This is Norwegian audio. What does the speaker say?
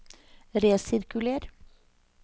resirkuler